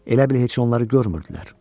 Elə bil heç onları görmürdülər.